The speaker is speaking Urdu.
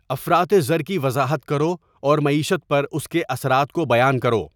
افراط زر کی وضاحت کرو اور معیشت پر اس کے اثرات کو بیان کرو